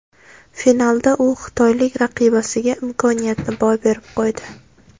Finalda u xitoylik raqibasiga imkoniyatni boy berib qo‘ydi.